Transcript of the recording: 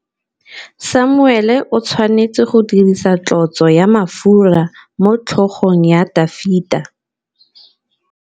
Samuele o tshwanetse go dirisa tlotsô ya mafura motlhôgong ya Dafita.